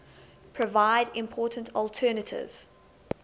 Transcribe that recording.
provide important alternative